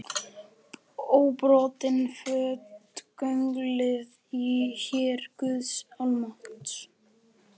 Óbrotinn fótgönguliði í her guðs almáttugs.